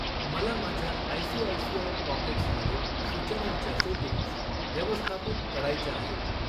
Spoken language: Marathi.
मला माझ्या आयसीआयसीआय पॉकेट्स मधील सूचनांच्या सेटिंग्ज व्यवस्थापित करायच्या आहेत.